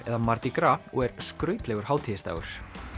eða mardi gras og er skrautlegur hátíðisdagur